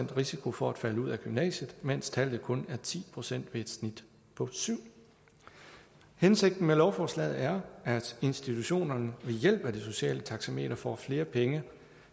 risiko for at falde ud af gymnasiet mens tallet kun er ti procent ved et snit på syvende hensigten med lovforslaget er at institutionerne ved hjælp af det sociale taxameter får flere penge